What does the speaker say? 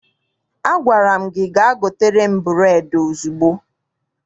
Agwara m gị gaa gotere m bureedi ozugbo!